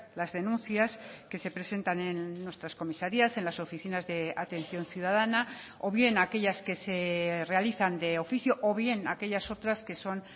las denuncias que se presentan en nuestras comisarías en las oficinas de atención ciudadana o bien aquellas que se realizan de oficio o bien aquellas otras que son